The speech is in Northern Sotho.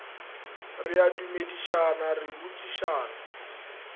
re a dumedišana re botšišana